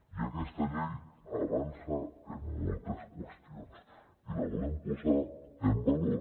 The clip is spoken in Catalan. i aquesta llei avança en moltes qüestions i la volem posar en valor